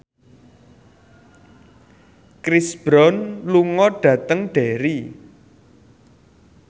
Chris Brown lunga dhateng Derry